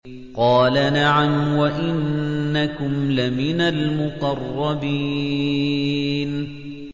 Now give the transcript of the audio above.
قَالَ نَعَمْ وَإِنَّكُمْ لَمِنَ الْمُقَرَّبِينَ